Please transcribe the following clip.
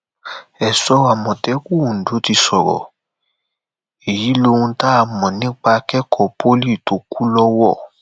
èso àmọtẹkùn ondo ti sọrọ èyí lóhun tá a mọ nípa akẹkọọ pólì tó kù lọwọ